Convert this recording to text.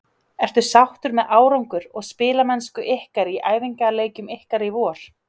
Ertu sáttur með árangur og spilamennsku ykkar í æfingaleikjum ykkar í vor?